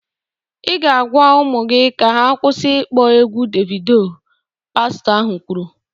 "Ị ga-agwa ụmụ gị ka ha kwụsị ịkpọ egwụ Devido!" pastọ ahụ kwuru